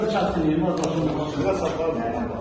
Orda bir çətinliyim var.